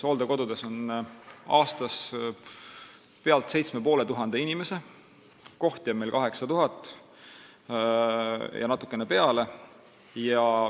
Hooldekodus on aastas üle 7500 inimese, kohti on 8000 ja natukene peale.